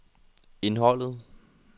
indholdet